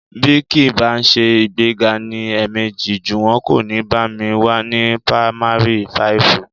Bí kì í bá ṣe ìgbéga ní ẹ̀ẹ̀mejì, Jùwọ́n kò ní bá mi wá ní pamari fáìfù